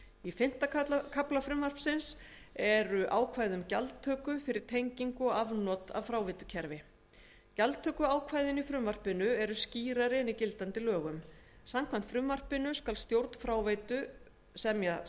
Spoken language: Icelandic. í fimmta kafla frumvarpsins eru ákvæði um gjaldtöku fyrir tengingu og afnot af fráveitukerfi gjaldtökuákvæðin í frumvarpinu eru skýrari en í gildandi lögum samkvæmt frumvarpinu skal stjórn fráveitu semja